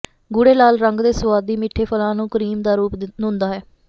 ਗੂੜ੍ਹੇ ਲਾਲ ਰੰਗ ਦੇ ਸੁਆਦੀ ਮਿੱਠੇ ਫ਼ਲਾਂ ਨੂੰ ਕਰੀਮ ਦਾ ਰੂਪ ਹੁੰਦਾ ਹੈ